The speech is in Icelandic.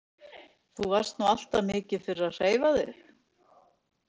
Þú varst nú alltaf mikið fyrir að hreyfa þig?